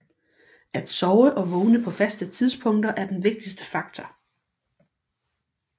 At sove og vågne på faste tidspunkter er den vigtigste faktor